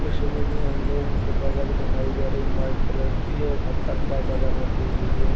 ये समझ लो हम लोगों को बदक दिखाई दे रही है व्हाइट कलर की और हर तरफ़ा बदख रखी हुई है।